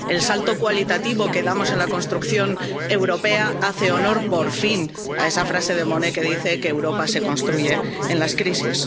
El salto cualitativo que damos en la construcción europea hace honor, por fin, a esa frase de Monnet que dice que Europa se construye en las crisis.